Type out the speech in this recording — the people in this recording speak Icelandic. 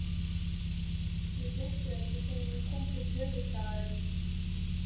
Ég frétti það ekki fyrr en ég kom til höfuðstaðarins.